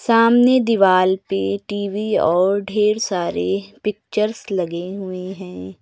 सामने दीवाल पे टी_वी और ढ़ेर सारे पिक्चर्स लगे हुए हैं।